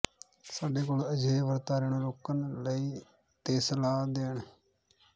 ਸਾਡੇ ਕੋਲ ਅਜਿਹੇ ਵਰਤਾਰੇ ਨੂੰ ਰੋਕਣ ਲਈ ਤੇ ਸਲਾਹ ਦੇਣ